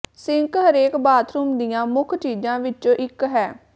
sink ਹਰੇਕ bathroom ਦੀਆਂ ਮੁੱਖ ਚੀਜ਼ਾਂ ਵਿੱਚੋਂ ਇਕ ਹੈ